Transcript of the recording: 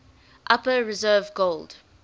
upper reserve gold